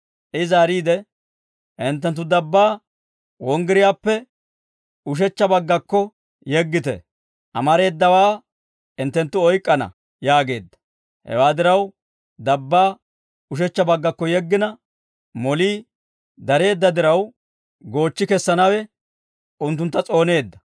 I zaariide, «Hinttenttu dabbaa wonggiriyaappe ushechcha baggakko yeggite; amareedawaa hinttenttu oyk'k'ana» yaageedda. Hewaa diraw, dabbaa ushechcha baggakko yeggina, molii dareedda diraw, goochchi kessanawe unttuntta s'ooneedda.